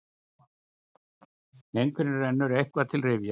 Einhverjum rennur eitthvað til rifja